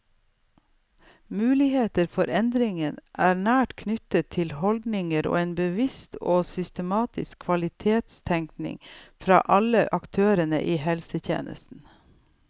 Muligheter for endring er nært knyttet til holdninger og en bevisst og systematisk kvalitetstenkning fra alle aktørene i helsetjenesten.